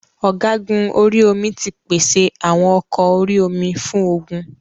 Ọ̀gúgun orí omi ti pèsè àwọn ọkọ orí omi fún ogun.